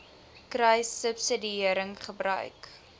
kruissubsidiëringgebruik